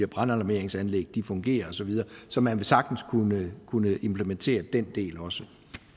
brandalarmeringsanlæg fungerer og så videre så man vil sagtens kunne kunne implementere den del også